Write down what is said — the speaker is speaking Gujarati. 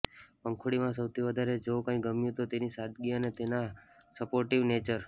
પંખુડીમાં સૌથી વધારે જો કંઇ ગમ્યુ તો તેની સાદગી અને તેનો સપોર્ટિવ નેચર